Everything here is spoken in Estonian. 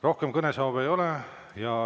Rohkem kõnesoove ei ole.